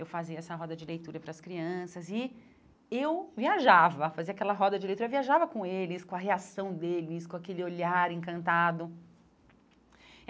Eu fazia essa roda de leitura para as crianças e eu viajava, fazia aquela roda de leitura, viajava com eles, com a reação deles, com aquele olhar encantado.